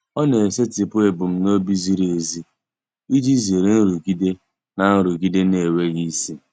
Ọ na-esetịpụ ebumnobi ziri ezi iji zere nrụgide na nrụgide na-enweghị isi.